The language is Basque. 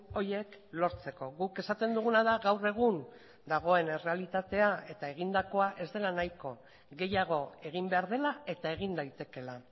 horiek lortzeko guk esaten duguna da gaur egun dagoen errealitatea eta egindakoa ez dela nahiko gehiago egin behar dela eta egin daitekeela